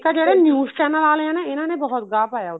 ਇੱਕ ਆ ਜਿਹੜੇ news channel ਵਾਲੇ ਆ ਨਾ ਇਹਨਾ ਨੇ ਬਹੁਤ ਗਾਹ ਪਾਇਆ